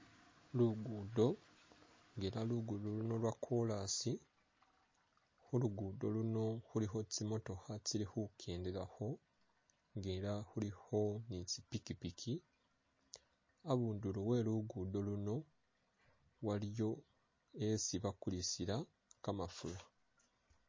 Lugudo ela lugudo luno lwa kolasi khu lugudo luno khulikho tsimootokha tsili khukendelakho nga ela khulikho ni tsipikipiki, abundulo we lugudo luno waliyo yesi bakulisila kamafura.